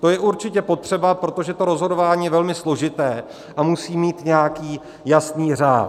To je určitě potřeba, protože to rozhodování je velmi složité a musí mít nějaký jasný řád.